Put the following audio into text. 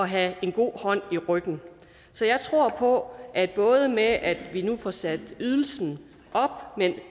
have en god hånd i ryggen så jeg tror på at både det med at vi nu får sat ydelsen op men